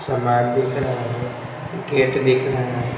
सामान दिख रहा है गेट दिख रहा है।